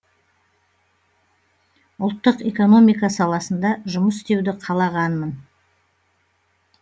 ұлттық экономика саласында жұмыс істеуді қалағанмын